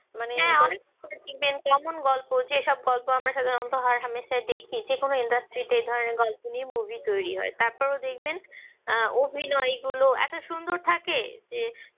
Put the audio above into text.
এমন গল্প যে যেসব গল্প আমরা সাধারণত হরহামেশা দেখি যে কোন industry তে ধরেন গল্প নিয়ে movie তৈরি হয় তারপরও দেখবেন আহ অভিনয়ে গুলো এত সুন্দর থাকে যে